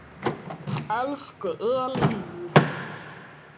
Elsku Elín mín.